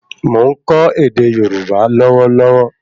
Mo n kọ ède Yorùbá lówó lówó